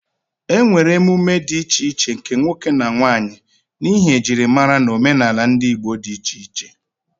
E nwere emume dị iche iche nke nwoke na nwanyị, n'ihi ejirimara na omenala ndị Igbo di iche iche.